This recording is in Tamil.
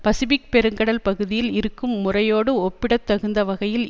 பசிபிக் பெருங்கடல் பகுதியில் இருக்கும் முறையோடு ஒப்பிடத்தகுந்த வகையில்